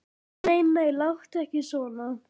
Nei, nei, láttu ekki svona.